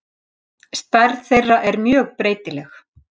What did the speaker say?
Stærð þeirra er mjög breytileg.